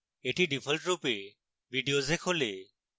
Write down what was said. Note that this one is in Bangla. এটি ডিফল্টরূপে videos এ খোলে